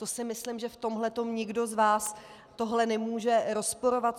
To si myslím, že v tomhletom nikdo z vás tohle nemůže rozporovat.